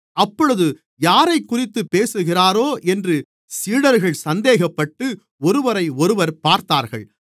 அப்பொழுது யாரைக்குறித்துப் பேசுகிறாரோ என்று சீடர்கள் சந்தேகப்பட்டு ஒருவரையொருவர் பார்த்தார்கள்